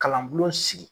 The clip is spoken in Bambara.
Kalan bulon sigi